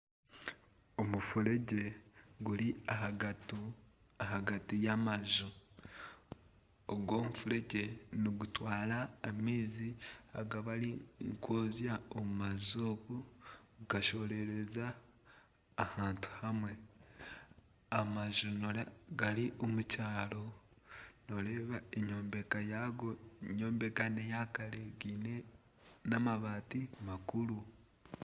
Omufuregye guri ahagati y'amaju. Ogu omufuregye nigutwara amaizi agu barikwozya omu maju okwo gashohorera ahantu hamwe. Amaju gari omu kyaro noreeba enyombeka yago enyombeka n'eya kare gaine n'amabaati makuru.